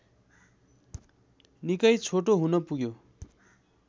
निकै छोटो हुन पुग्यो